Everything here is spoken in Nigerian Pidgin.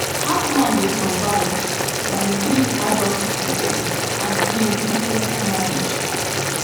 hackman dey survived by three adult children from im previous marriage